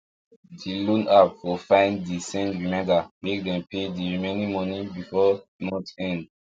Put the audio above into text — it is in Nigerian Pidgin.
d loan app for fine de send reminder make dem pay the remaining money before month end